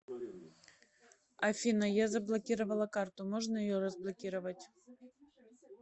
афина я заблокировала карту можно ее разблокировать